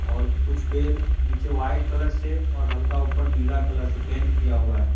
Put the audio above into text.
और कुछ पैर नीचे वाइट कलर से और हल्का ऊपर नीला कलर से पेंट किया हुआ है।